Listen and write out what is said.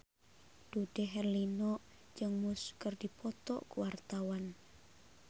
Dude Herlino jeung Muse keur dipoto ku wartawan